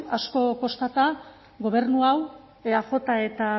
asko kostata gobernu hau eaj eta